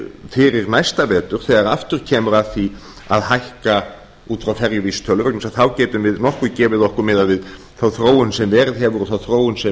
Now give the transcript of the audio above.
fyrir næsta vetur þegar aftur kemur að því að hækka út frá ferjuvísitölu af því að þá getum við nokkuð gefið okkur miðað við þá þróun sem